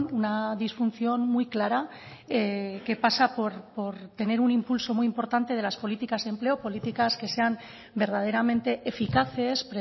una disfunción muy clara que pasa por tener un impulso muy importante de las políticas de empleo políticas que sean verdaderamente eficaces